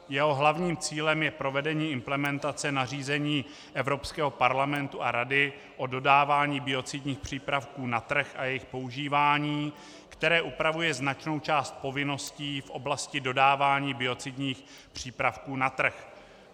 Jeho hlavním cílem je provedení implementace nařízení Evropského parlamentu a Rady o dodávání biocidních přípravků na trh a jejich používání, které upravuje značnou část povinností v oblasti dodávání biocidních přípravků na trh.